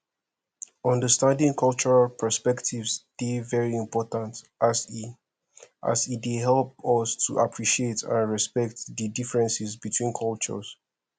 understanding cultural perspectives dey very important as e as e dey help us to appreciate and respect di differences between cultures